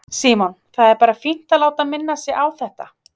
Símon: Það er bara fínt að láta minna sig á þetta?